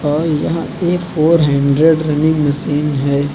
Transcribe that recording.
और यह a four hundred running machine है।